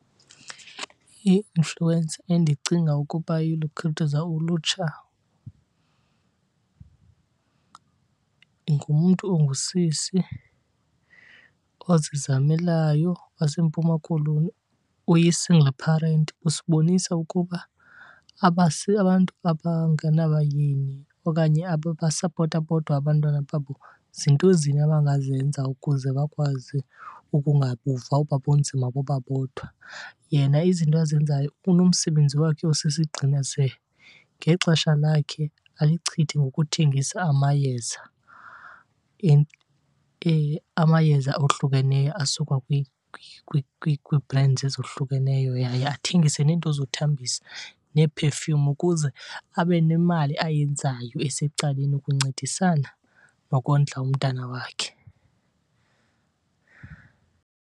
I-influencer endicinga ukuba iyalukhuthaza ulutsha ngumntu ongusisi ozizamelayo waseMpuma Koloni oyi-single parent. Usibonisa ukuba abantu abangena bayeni okanye ababasapota bodwa abantwana babo zinto zini abangazenza ukuze bakwazi ukungabuva oba bunzima boba bodwa. Yena izinto azenzayo unomsebenzi wakhe osisigxina ze ngexesha lakhe alichithe ngokuthengisa amayeza , amayeza ohlukeneyo asuka kwii-brands ezohlukeneyo yaye athengise neento zothambisa nee-perfume ukuze abe nemali ayenzayo esecaleni ukuncedisana nokondla umntana wakhe.